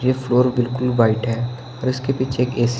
ये फ्लोर बिल्कुल व्हाईट है और इसके पीछे एक--